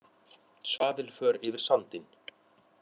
Svaðilför yfir sandinn